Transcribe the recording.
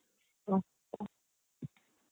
আচ্ছা